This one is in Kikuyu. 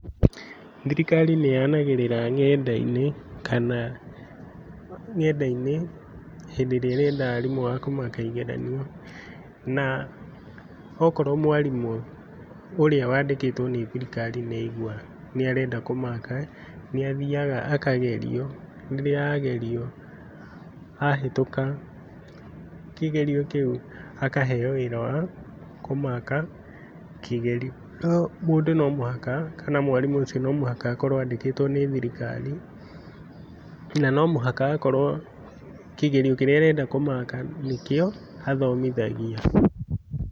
Thirikari nĩyanagĩrĩra nenda-inĩ kana nenda-inĩ, hĩndĩ ĩrĩa ĩrenda arimũ a kũmaka igeranio, na wakorwo mwarimũ ũrĩa wandĩkĩtwo nĩ thirikari nĩaigua nĩarenda kũmaka, nĩathiaga akagerio rĩrĩa agerio, ahĩtũka kĩgerio kĩu akaheo wĩra wa kũmaka kĩgerio, no mũndũ no mũhaka kana mwarimũ ũcio nomũhaka akorwo andĩkĩtwo nĩ thirikari, na nomũhaka akorwo kĩgerio kĩrĩa arenda kũmaka nĩkĩo athomithagia.